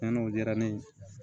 Cɛnni o diyara ne ye